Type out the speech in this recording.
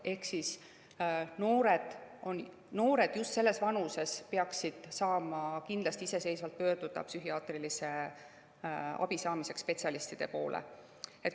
Ehk noored just selles vanuses peaksid kindlasti saama psühhiaatrilise abi saamiseks iseseisvalt spetsialistide poole pöörduda.